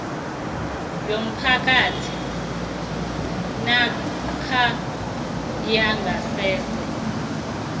yomphakathi namkha yangasese